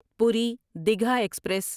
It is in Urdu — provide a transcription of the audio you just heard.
پوری دیگھا ایکسپریس